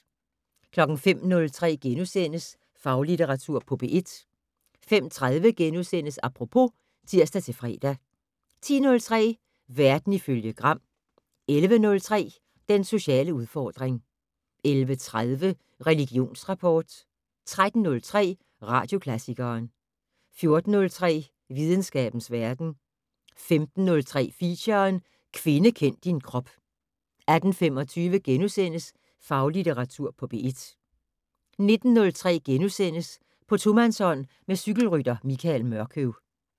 05:03: Faglitteratur på P1 * 05:30: Apropos *(tir-fre) 10:03: Verden ifølge Gram 11:03: Den sociale udfordring 11:30: Religionsrapport 13:03: Radioklassikeren 14:03: Videnskabens verden 15:03: Feature: Kvinde kend din krop 18:25: Faglitteratur på P1 * 19:03: På tomandshånd med cykelrytter Michael Mørkøv *